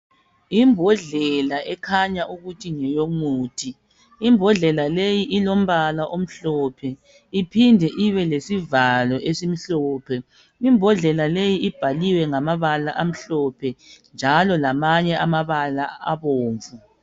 Yimbodlela ekhanya ukuthi ngeyomuthi. Imbodlela leyi ilombala omhlophe iphinde ibelesivalo esimhlophe. Imbodlela leyi ibhaliwe ngamabala amhlophe njalo lamanye amabala abomvu.